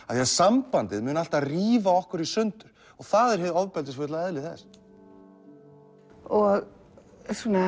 af því að sambandið mun alltaf rífa okkur í sundur og það er hið ofbeldisfulla eðli þess og